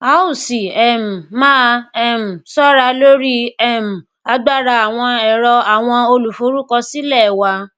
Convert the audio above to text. a o si um maa um ṣọra lori um agbara awọn ẹrọ awọn oluforukọsilẹ wa